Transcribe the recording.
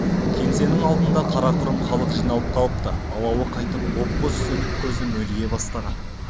кеңсенің алдына қарақұрым халық жиналып қалыпты алауы қайтып боп-боз сөнік көзі мөлие бастаған